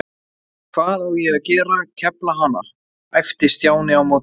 Hvað á ég að gera, kefla hana? æpti Stjáni á móti.